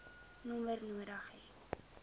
nommer nodig hê